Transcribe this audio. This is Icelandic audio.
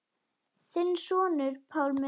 Þinn sonur, Pálmi Þór.